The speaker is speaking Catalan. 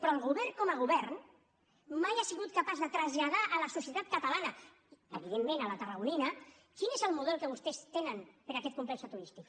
però el govern com a govern mai ha sigut capaç de traslladar a la societat catalana evidentment a la tarragonina quin és el model que vostès tenen per a aquest complex turístic